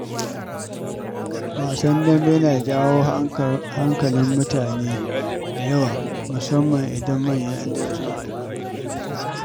Wasan dambe yana jawo hankalin mutane da yawa, musamman idan manyan ’yan dambe suka haɗu.